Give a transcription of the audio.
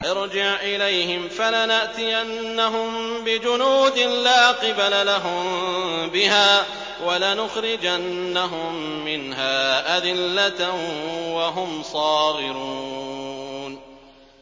ارْجِعْ إِلَيْهِمْ فَلَنَأْتِيَنَّهُم بِجُنُودٍ لَّا قِبَلَ لَهُم بِهَا وَلَنُخْرِجَنَّهُم مِّنْهَا أَذِلَّةً وَهُمْ صَاغِرُونَ